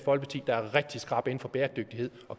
folkeparti der er rigtig skrappe inden for bæredygtighed